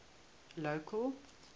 local